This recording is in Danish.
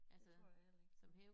Det tror jeg heller ikke